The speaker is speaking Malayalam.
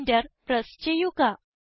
Enter പ്രസ് ചെയ്യുക